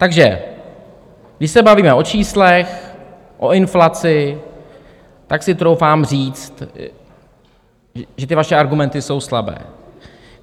Takže když se bavíme o číslech, o inflaci, tak si troufám říct, že ty vaše argumenty jsou slabé.